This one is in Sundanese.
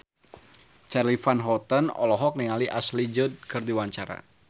Charly Van Houten olohok ningali Ashley Judd keur diwawancara